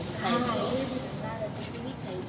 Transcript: હા એ જ ને બારે તો પછી વિખાય જાય